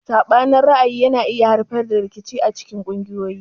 Sabanin ra'ayi yana iya haifar da rikici acikin kungiyoyi.